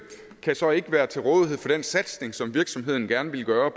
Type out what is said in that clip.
kan så ikke være til rådighed for den satsning som virksomheden gerne ville gøre